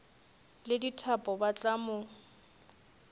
le dithapo ba tla mo